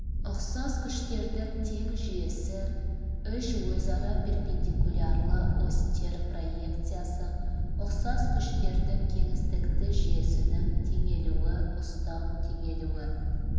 ұқсас күштердің тең жүйесі үш өзара перпендикулярлы осьтер проекциясы ұқсас күштердің кеңістікті жүйесінің теңелуі ұстау теңелуі